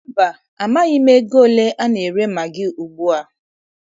Mba, amaghị m ego ole a na-ere magị ugbua.